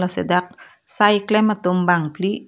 lasi dak sai klem tum bangpli.